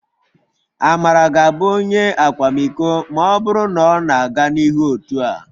Amara ga-abụ Onye akwamiko... ma ọ bụrụ na ọ na-aga n'ihu otu a